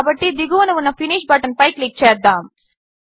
కాబట్టి దిగువన ఉన్న ఫినిష్ బటన్పై క్లిక్ చేద్దాము